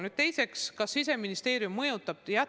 Nüüd teiseks, kas Siseministeerium mõjutab?